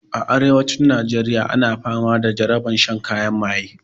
A arewacin najeriya ana fama da jarabar shan kayan maye